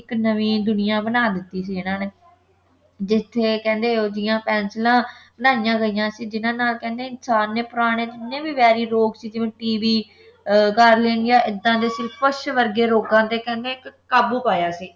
ਇੱਕ ਨਵੀਂ ਦੁਨੀਆ ਬਣਾ ਦਿੱਤੀ ਸੀ ਇਨ੍ਹਾਂ ਨੇ ਜਿੱਥੇ ਕਹਿੰਦੇ ਓਹਦੀਆਂ ਪੈਨਸਿਲਾਂ ਬਣਾਈਆਂ ਗਈਆਂ ਸੀ ਜਿਨ੍ਹਾਂ ਨਾਲ ਕਹਿੰਦੇ ਇਨਸਾਨ ਨੇ ਪੁਰਾਣੇ ਜਿੰਨੇ ਵੀ ਵੈਰੀ ਰੋਗ ਸੀ ਜਿਵੇਂ TB ਅਹ ਗਾਰਲੇਨਿਆ ਐਦਾਂ ਦੇ ਸੀ ਕੁਸ਼ਠ ਵਰਗੇ ਰੋਗਾਂ ਤੇ ਕਹਿੰਦੇ ਇੱਕ ਕਾਬੂ ਪਾਇਆ ਸੀ